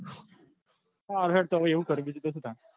હા હેડ તો એવું કર્યો બીજું શું તાન